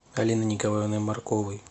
алиной николаевной марковой